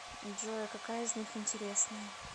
джой а какая из них интересная